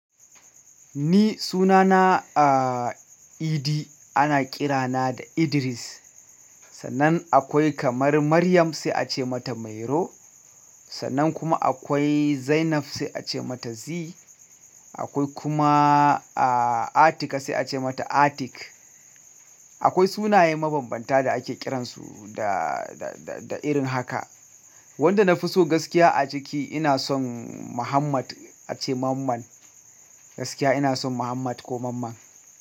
Ni sunana a idi ana ƙira na da Idris. Sannan akwai kamar Maryam sai a ce mata Mairo. Sannan kuma akwai Zainab sai a ce mata Zee. Akwai kuma a Atika sai a ce mata Atik. Akwai sunaye mabambanta da ake kiransu da, da, da irin haka. Wanda na fi so gaskiya a ciki ina son Muhammad a ce Mamman. Gaskiya ina son Muhammad ko Mamman.